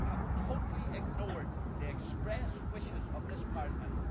You have totally ignored the express wishes of this Parliament.